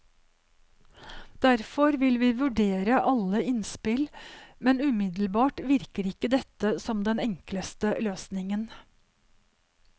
Derfor vil vi vurdere alle innspill, men umiddelbart virker ikke dette som den enkleste løsningen.